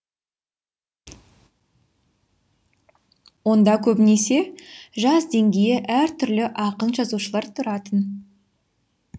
онда көбінесе жас деңгейі әртүрлі ақын жазушылар тұратын